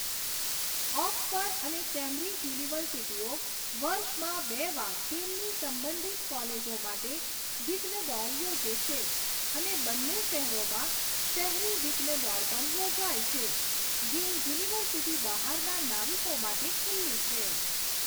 Oxford અને Cambridge યુનિવર્સિટીઓ વર્ષમાં બે વાર તેમની સંબંધિત કોલેજો માટે વિઘ્ન દોડ યોજે છે અને બંને શહેરોમાં શહેરી વિઘ્ન દોડ પણ યોજાય છે, જે યુનિવર્સિટી બહારના નાવિકો માટે ખુલ્લી છે.